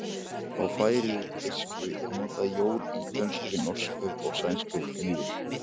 Í færeysku er notað jól, í dönsku, norsku og sænsku jul.